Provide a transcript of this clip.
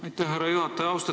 Aitäh, härra juhataja!